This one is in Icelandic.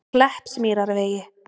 Kleppsmýrarvegi